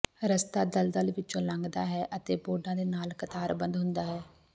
ਰਸਤਾ ਦਲਦਲ ਵਿਚੋਂ ਲੰਘਦਾ ਹੈ ਅਤੇ ਬੋਰਡਾਂ ਦੇ ਨਾਲ ਕਤਾਰਬੱਧ ਹੁੰਦਾ ਹੈ